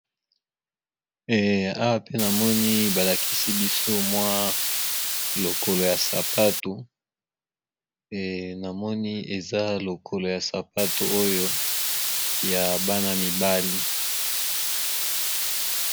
Eh awa pe namoni balakisi biso mwa lokolo ya sapato namoni eza lokolo ya sapato oyo ya bana mibali.